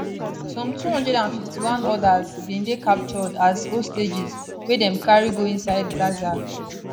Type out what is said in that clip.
some 251 odas bin dey captured as hostages wey dem carry go inside gaza